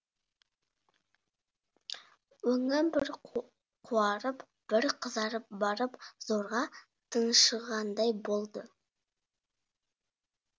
өңі бір қуарып бір қызарып барып зорға тыншығандай болды